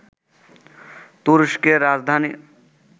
তুরস্কের রাজধানী